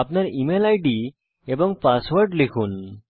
আপনার email ID এবং password লিখুন